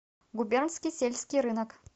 губернский сельский рынок